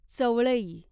चवळई